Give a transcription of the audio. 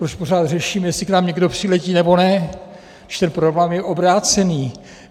Proč pořád řešíme, jestli k nám někdo přiletí, nebo ne, když ten problém je obrácený?